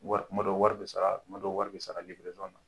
Wari kuma dɔ wari bɛ sara kuma dɔ wari bɛ sara na.